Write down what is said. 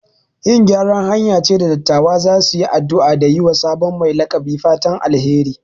Yin gyaran hanya ce da dattawa za su yi addu'a da yi wa sabon mai laƙabi fatan alheri.